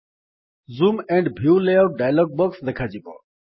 zoom and view layout dialog box ଦେଖାଯିବ